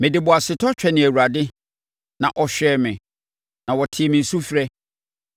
Mede boasetɔ twɛnee Awurade; na ɔhwɛɛ me, na ɔtee me sufrɛ.